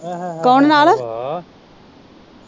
ਕੋਣ ਨਾਲ।